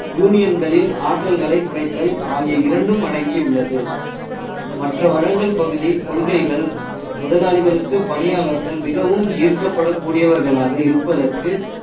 யூனியன்களில் ஆற்றல்களை குறைத்தல் ஆகிய இரண்டும் அடங்கியுள்ளது மற்ற வளங்கள் பகுதி கொள்கைகள் முதலாளிகளுக்கு பணியாளர்கள் மிகவும் ஈர்க்கப்பட கூடியவர்களாக இருப்பதற்கு